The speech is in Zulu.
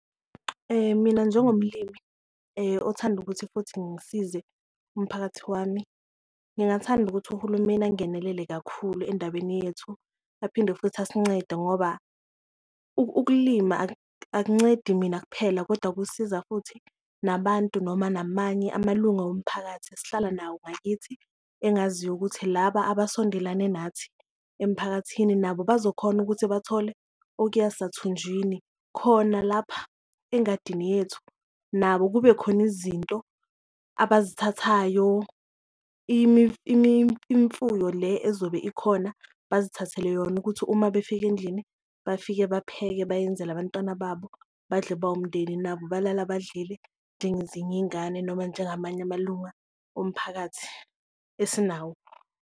Mina njengomlimi othanda ukuthi futhi ngisize umphakathi wami, ngingathanda ukuthi uhulumeni angenelele kakhulu endabeni yethu, aphinde futhi isincede ngoba ukulima akuncedi mina kuphela. Kodwa kusiza futhi nabantu noma namanye amalunga womphakathi esihlala nawo ngakithi engaziyo ukuthi laba abasondelane nathi emiphakathini, nabo bazokhona ukuthi bathole okuya sathunjini khona lapha engadini yethu nabo kube khona izinto abazithandayo. Le ezobe ikhona, bazithathele yona ukuthi uma befika endlini bafike bapheke bayenzele abantwana babo badle bawumndeni, nabo balala badlalile njengezinye iyingane noma njengamanye amalunga omphakathi esinawo.